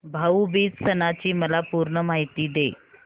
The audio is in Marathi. भाऊ बीज सणाची मला पूर्ण माहिती दे